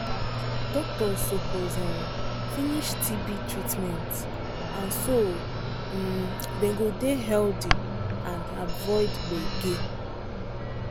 doctors suppose um finish tb treatment so um them go dey healthy and avoid gbege um